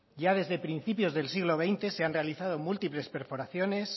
ya desde principios del siglo veinte se han realizado múltiples perforaciones